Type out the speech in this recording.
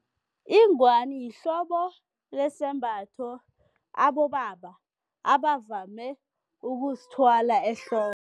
Ingwani yihlobo lesembatho abobaba abavame ukusithwala ehloko.